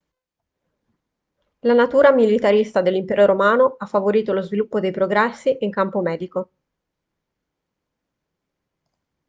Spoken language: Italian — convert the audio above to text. la natura militarista dell'impero romano ha favorito lo sviluppo dei progressi in campo medico